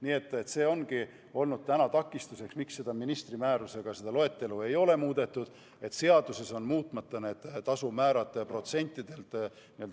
Nii et see ongi olnud takistuseks, miks ei ole seda loetelu ministri määrusega muudetud – seaduses on need tasumäärad protsentides.